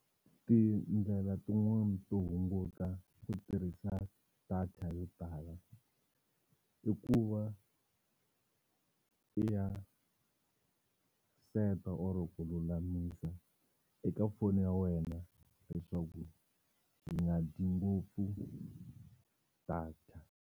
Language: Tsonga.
Tindlela tin'wani to hunguta ku tirhisa data yo tala i ku va i ya set-a or ku lulamisa eka foni ya wena leswaku yi nga dyi ngopfu data.